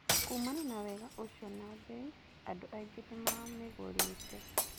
Kuumana na wega ũcio na mbei, andũ aingĩ nĩ mamĩgũrĩte.